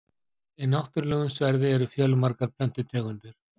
í náttúrulegum sverði eru fjölmargar plöntutegundir